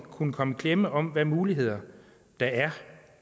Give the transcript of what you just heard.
kunne komme i klemme om hvilke muligheder der er